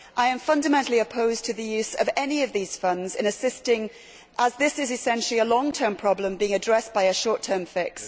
I am fundamentally opposed to the use of any of these funds in assisting as this is essentially a long term problem being addressed by a short term fix.